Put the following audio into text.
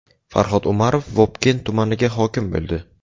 Farhod Umarov Vobkent tumaniga hokim bo‘ldi.